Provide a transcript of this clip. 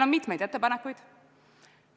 On mitmeid ettepanekuid.